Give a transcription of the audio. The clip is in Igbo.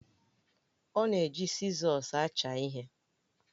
Ọ na-eji sizọs acha ihe